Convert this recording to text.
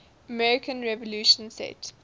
american revolution set